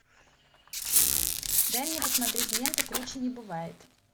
дай мне посмотреть ленту круче не бывает